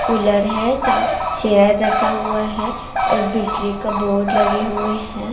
Cooler है साम chair रखा हुआ है एक बिजली का बोर्ड लगे हुए हैं।